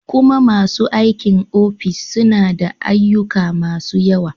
kuman masu aikin ofis suna da ayyuka masu yawa.